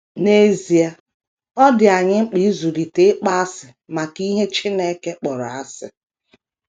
N’ezie, ọ dị anyị mkpa ịzụlite ịkpọasị maka ihe Chineke kpọrọ asị.